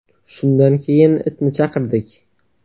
Shundan keyin itni chaqirdik.